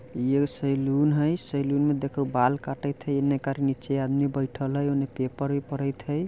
ये सेलून हई। सेलून मे देख बाल काटथे निकर नीचे आदमी बैठल पेपर - मिपर हई।